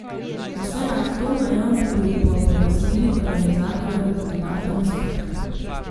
Vse nad to mejo bi bil po pojasnilih organizatorjev dodaten uspeh.